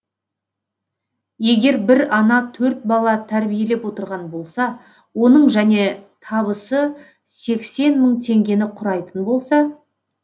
егер бір ана төрт бала тәрбиелеп отырған болса оның және табысы сексен мың теңгені құрайтын болса